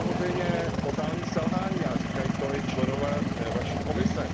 To je samozřejmě totální selhání a říkají to i členové vaší Komise.